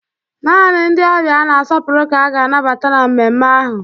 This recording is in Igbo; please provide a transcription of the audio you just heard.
Naanị ndị ọbịa a na-asọpụrụ ka a ga-anabata na mmemme ahụ